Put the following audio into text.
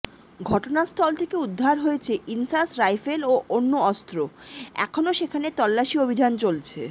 ঘটনাস্থল থেকে উদ্ধার হয়েছে ইনসাস রাইফেল ও অন্য অস্ত্র এখনও সেখানে তল্লাশি অভিযান চলছে